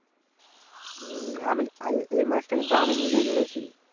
হম এ মাছটা কিন্তু আমি নিজেই ধরেছি